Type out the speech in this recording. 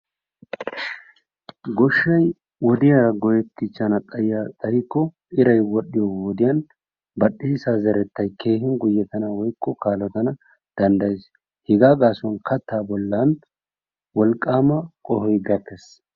gooshshay wodiyaa go"ttichchaana xayikko iray wol"iyo wodiyaan bal"eessaa zerettay keehin guyyetanawu woykko kaalotanawu dandayees. Hegaa gaasuwaan kaattaa bollan wolqqaama qoohoy gakkees.